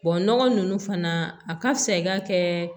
nɔgɔ ninnu fana a ka fisa i ka kɛ